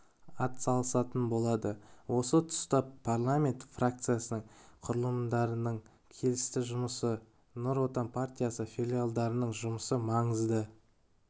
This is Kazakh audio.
атсалысатын болады осы тұста парламент фракциясының құрылымдарының келісті жұмысы нұр отан партиясы филиалдарының жұмысы маңызды